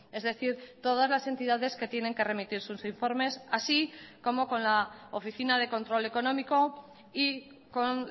es decir todas las entidades que tienen que remitir sus informes así como con la oficina de control económico y con